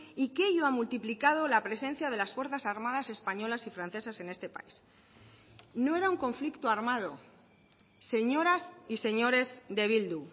y que ello ha multiplicado la presencia de las fuerzas armadas españolas y francesas en este país no era un conflicto armado señoras y señores de bildu